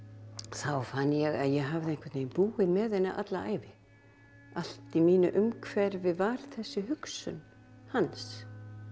þá fann ég að ég hafði einhvern veginn búið með henni alla ævi allt í mínu umhverfi var þessi hugsun hans